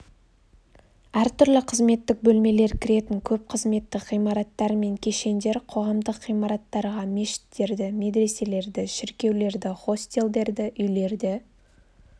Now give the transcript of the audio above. әртүрлі қызметтік бөлмелер кіретін көп қызметтік ғимараттар мен кешендер қоғамдық ғимараттарға мешіттерді медреселерді шіркеулерді хостелдерді үйлерді